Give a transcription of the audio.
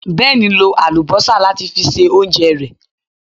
Ben lo àlùbọ́sà láti fi se oúnjẹ rẹ̀